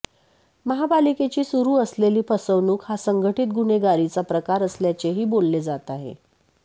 महापालिकेची सुरू असलेली फसवणूक हा संघटित गुन्हेगारीचा प्रकार असल्याचेही बोलले जात आहे